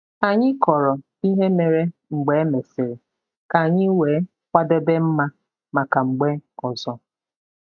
Anyị kọrọ ihe mere mgbe e mesịrị ka anyị wee kwadebe mma maka mgbe ọzọ.